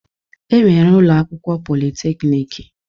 E nwere ụlọakwụkwọ politeknik.